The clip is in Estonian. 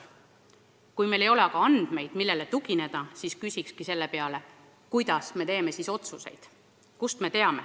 Kui meil ei ole aga andmeid, millele tugineda, siis kuidas me saame otsuseid teha?